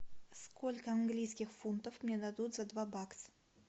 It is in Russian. сколько английских фунтов мне дадут за два бакс